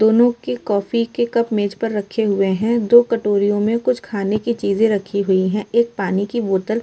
दोनों के कॉफ़ी के कप मेज पर रखे हैं। दो कटोरिओ में खाने की चीज़ रखी हुई हैं। एक पानी की बॉटल --